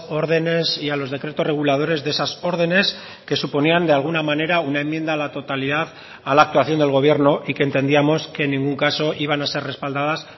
órdenes y a los decretos reguladores de esas órdenes que suponían de alguna manera una enmienda a la totalidad a la actuación del gobierno y que entendíamos que en ningún caso iban a ser respaldadas